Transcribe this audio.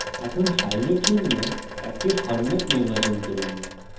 এখন file জন্য একটি ফরম্যাট নির্বাচন করুন